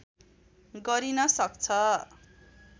गरिन सक्छ